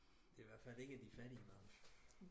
Det er ihvertfald ikke de fattige børn